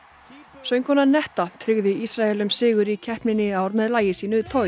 söngkonan netta tryggði Ísraelum sigur í keppninni í ár með lagi sínu